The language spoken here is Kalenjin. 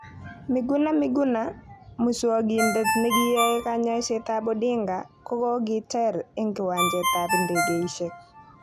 Miguna Miguna:Muswogindet nekiyoe koyokset ab Odinga kokokiter eng kiwanjet ab idegeishek.